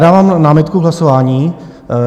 Dávám námitku k hlasování.